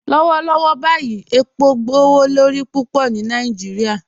Lọwọlọwọ báyì epo gbowolorí púpọ ni Nàìjíríà